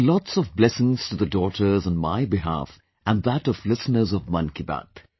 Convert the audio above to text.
Give lots of blessings to the daughters on my behalf and that of listeners of Mann Ki Baat